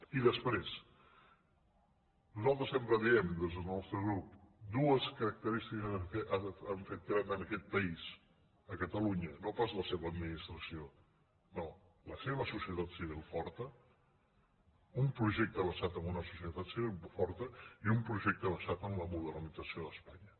i després nosaltres sempre diem des del nostre grup dues característiques que han fet gran aquest país catalunya no pas la seva administració no la seva societat civil forta un projecte basat en una societat civil forta i un projecte basat en la modernització d’espanya